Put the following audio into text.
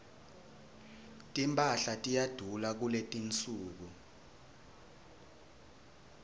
timphahla tiyadula kuletinsuku